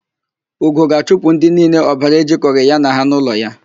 Ugo ga-achụpụ ndị niile ọbara ejikọghị ya na ha n'ụlọ ya.